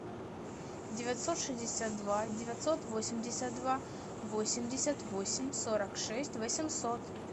девятьсот шестьдесят два девятьсот восемьдесят два восемьдесят восемь сорок шесть восемьсот